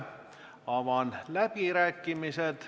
Avan läbirääkimised.